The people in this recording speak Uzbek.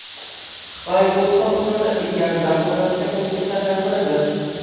Xitoy ko‘p sohalarda ilgarilab borayotgan mamlakatlardan biridir.